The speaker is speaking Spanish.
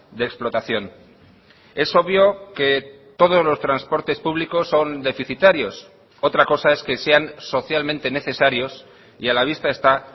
de explotación es obvio que todos los transportes públicos son deficitarios otra cosa es que sean socialmente necesarios y a la vista está